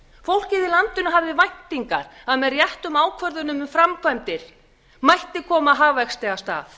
fólkið í landinu hafði væntin að að með réttum ákvörðunum um framkvæmdir mætti koma hagvexti af stað